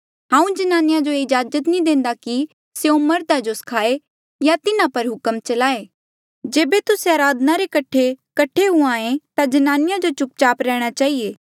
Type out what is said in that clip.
हांऊँ ज्नानिया जो ये इज्जाजत नी देंदा कि स्यों मर्धा जो स्खायें या तिन्हा पर हुक्म चलाए जेबे तुस्से अराधना रे कठे कट्ठे हुए ता जनानिया जो चुपचाप रैहणा चहिए